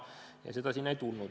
Tervisekeskust sinna ei tulnud.